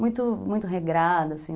Muito, muito regrada, assim.